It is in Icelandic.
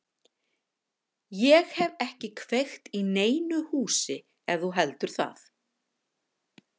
Ég hef ekki kveikt í neinu húsi ef þú heldur það.